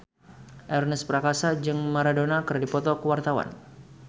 Ernest Prakasa jeung Maradona keur dipoto ku wartawan